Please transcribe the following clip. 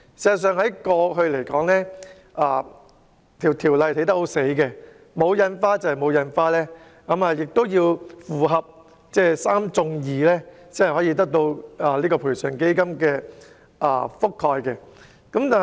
事實上，法例過往欠缺靈活性，即使收據沒有蓋上印花，亦要符合"三中二"的要求才可獲賠償基金覆蓋。